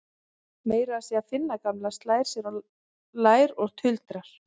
Meira að segja Finna gamla slær sér á lær og tuldrar